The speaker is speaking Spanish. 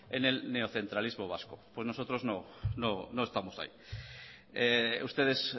en el neocentralismo vasco pues nosotros no estamos ahí ustedes